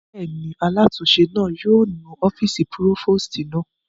Bẹ́ẹ̀ni, alátúnse náà yóò nu ọ́fìsì púrófòstì náà